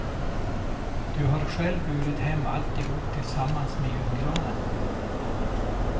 Du har själv burit hem allihop tillsammans med julgranen.